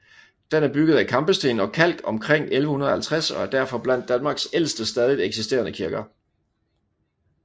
Den er bygget af kampesten og kalk omkring år 1150 og er derfor blandt Danmarks ældste stadigt eksisterende kirker